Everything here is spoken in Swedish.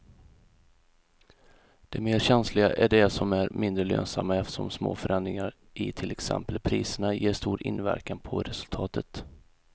De mer känsliga är de som är mindre lönsamma eftersom små förändringar i till exempel priserna ger stor inverkan på resultatet.